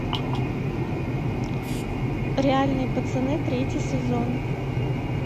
реальные пацаны третий сезон